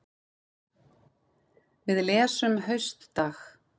Við lesum Haustdag